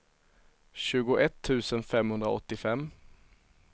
tjugoett tusen femhundraåttiofem